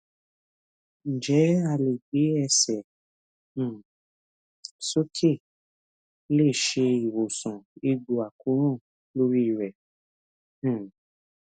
njẹ a le gbe ẹsẹ um soke le se iwosan egbo akoran lori re um